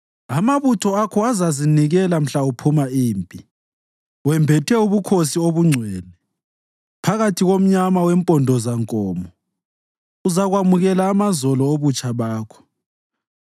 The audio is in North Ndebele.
Amabutho akho azazinikela mhla uphuma impi. Wembethe ubukhosi obungcwele, phakathi komnyama wempondozankomo uzakwamukela amazolo obutsha bakho.